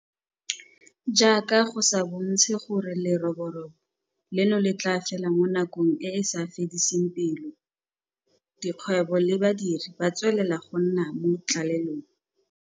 Jaaka go sa bontshe gore leroborobo leno le tla fela mo nakong e e sa fediseng pelo, dikgwebo le badiri ba tswelela go nna mo tlalelong.